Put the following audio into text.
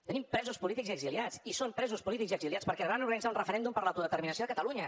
tenim presos polítics i exiliats i són presos polítics i exiliats perquè van organitzar un referèndum per l’autodeterminació a catalunya